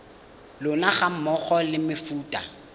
lona ga mmogo le mefuta